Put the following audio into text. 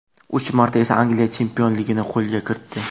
Uch marta esa Angliya chempionligini qo‘lga kiritdi.